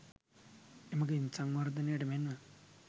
එමගින් සවර්ධනයට මෙන් ම